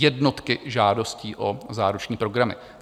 Jednotky žádostí o záruční programy.